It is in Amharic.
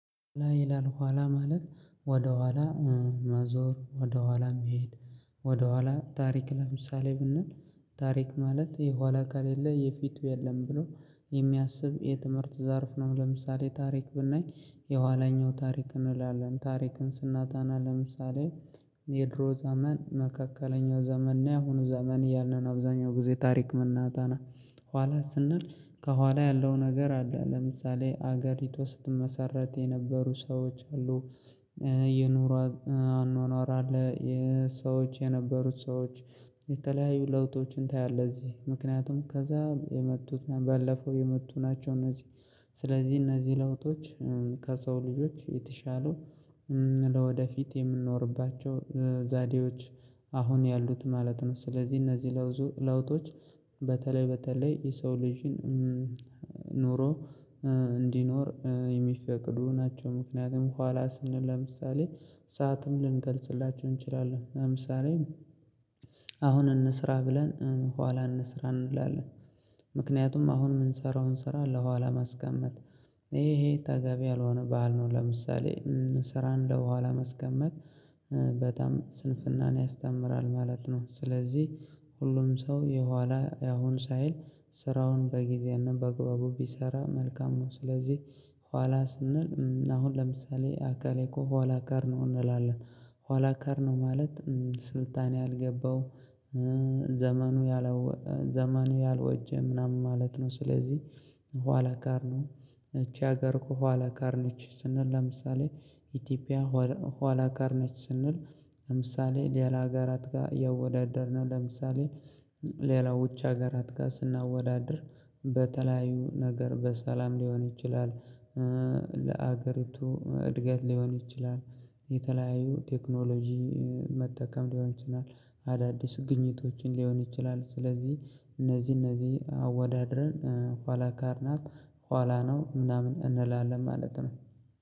ላይ ይላል ኋላ ማለት ወደኋላ ማዞር ወደኋላ መሄድ። ወደኋላ ታሪክ ለምሳሌ ብንል ታሪክ ማለት የኋላ ከለሌ የፊቱ የለም ብሎ የሚያስብ የትምህርት ዘርፍ ነው። ለምሳሌ ታሪክ ብናይ የኋለኛው ታሪክ እንላለን ታሪክን ስናጠና ለምሳሌ የድሮ ዘመን መካከለኛው ዘመን እና ያሆኑ ዘመን እያልን ነው። አብዛኛው ጊዜ ታሪክ መናጠና ኋላ ስንል ከኋላ ያለው ነገር አለ። ለምሳሌ አገሪቷ ስትመሰረት የነበሩ ሰዎች አሉ። የኑሯት አኗኗራ አለ። የሰዎች የነበሩት ሰዎች የተለያዩ ለውጦችን ታያለህ እዚህ ምክንያቱም ከዛ የመጡት ባለፈው የመጡ ናቸው። እነዚህ ስለዚህ እነዚህ ለውጦች ከሰው ልጆች የተሻለው ለወደፊት የምንኖርባቸው ዘዴዎች አሁን ያሉት ማለት ነው። ስለዚህ እነዚህ ለውጦች በተለይ በተለይ የሰው ልጅን ኖሮ እንዲኖር የሚፈቅዱ ናቸው። ምክንያቱም ኋላ ስንል ለምሳሌ ሰዓትም ልንገልጽላቸው እንችላለን። ለምሳሌ አሁን እንስራ ብለን ኋላ እንስራ እንላለን ምክንያቱም አሁን የምንሰራውን ስራ ለኋላ ማስቀመጥ ይሄ ተገቢ ያልሆነ በዓል ነው። ለምሳሌ ስራን ለኋላ ማስቀመጥ በጣም ስንፍናን ያስተምራል ማለት ነው። ስለዚህ ሁሉም ሰው የኋላ ያሁን ሳይል ስራውን በጊዜያንና ባግባቡ ቢሰራ መልካም ነው። ስለዚህ ኋላ ስንል አሁን ለምሳሌ አካሌ እኮ ኋላከር ነው እንላለን ኋላከር ነው። ማለት ስልጣኔ ያልገባው ያላወጀ ምናምን ማለት ነው። ስለዚህ ኋላቀር ነው እቺ ሀገር እኮ ኋላቀር ነች። ስንል ለምሳሌ ኢትዮጵያ ኋላቀር ነች ስንል ለምሳሌ ሌላ አገራት ጋር እያወዳደርን ነው። ለምሳሌ ሌላው ውጭ አገራት ጋር ስናወዳድር በተለያዩ ነገር በሰላም ሊሆን ይችላል። ለአገሪቱ እድገት ሊሆን ይችላል። የተለያዩ ቴክኖሎጂ መጠቀም ሊሆን ይችላል። አዳዲስ ግኝቶችን ሊሆን ይችላል ስለዚህ እነዚህ እነዚህ አወዳድረን ኋላቀር ናት ኋላ ነው ምናምን እንላለን ማለት ነው።